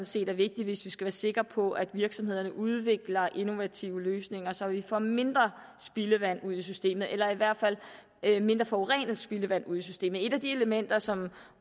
set er vigtigt hvis vi skal være sikre på at virksomhederne udvikler innovative løsninger så vi får mindre spildevand ud i systemet eller i hvert fald mindre forurenet spildevand ud i systemet et af de elementer som